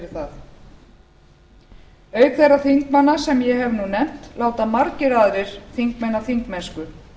fyrir það auk þeirra þingmanna sem ég hef nú nefnt láta margir aðrir þingmenn af þingmennsku